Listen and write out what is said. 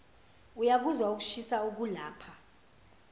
uyakuzwa ukushisa okulapha